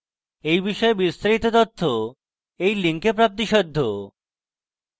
এই বিষয়ে বিস্তারিত তথ্য এই link প্রাপ্তিসাধ্য